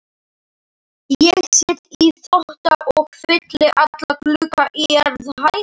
Ég set í potta og fylli alla glugga á jarðhæð.